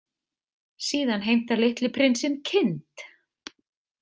Síðan heimtar litli prinsinn kind.